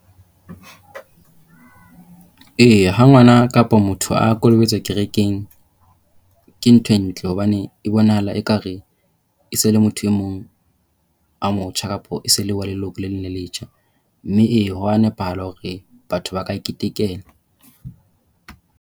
E, ha ngwana kapa motho a kolobetswa kerekeng ke ntho e ntle hobane e bonahala ekare e se e le motho e mong a motjha kapa e se e le wa leloko le leng le letjha. Mme, e, ho a nepahala hore batho ba ka ketekela.